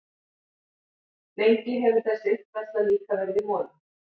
Lengi hefur þessi uppfræðsla líka verið í molum.